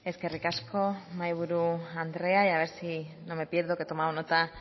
eskerrik asko mahaiburu andrea a ver si no me pierdo que he tomado nota